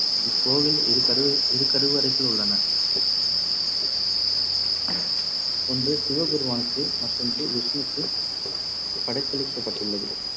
இக்கோவில் இருகருவ~ இரு கருவறைகள் உள்ளன. ஒன்று சிவபெருமானுக்கு மற்றொன்று விஷ்ணுவுக்கு படைத்தளிக்கப்பட்டுள்ளது.